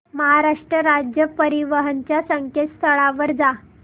महाराष्ट्र राज्य परिवहन च्या संकेतस्थळावर जा